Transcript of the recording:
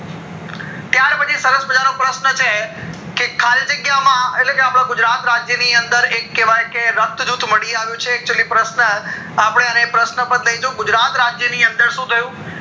ત્યાર પછી સરસ મજા નો પ્રશ્ન છે કે ખાલી જગ્યા માં એટલે કે અપડા ગુજરાત રાજ્ય ની અંદર એક કેઅવ્ય કે રક્ત જૂથ મળી આવ્યું છે પ્રશ્ન અપડે અને પ્રશ્ન પર લઇ જાઉં ગુજરાત રાજ્ય ની અંદર શું થયું